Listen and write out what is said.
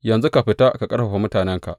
Yanzu ka fita ka ƙarfafa mutanenka.